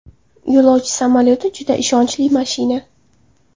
Yo‘lovchi samolyoti juda ishonchli mashina.